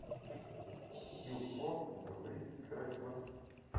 скилл по говорить играть в